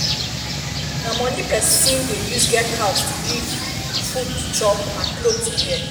na money persin persin de use get house to live food to chop and cloth to wear